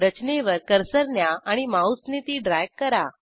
रचनेवर कर्सर न्या आणि माऊसने ती ड्रॅग करा